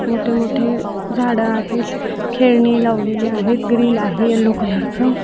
मोठे-मोठे झाडे आहेत खेलनी लवलेली आहे ग्रिल आहे येल्लो कलर चा.